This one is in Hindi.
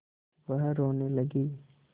वह रोने लगी